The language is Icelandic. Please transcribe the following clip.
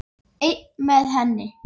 Einn með henni.